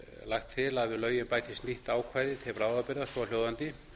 lagt til að við lögin bætist nýtt ákvæði til bráðabirgða svohljóðandi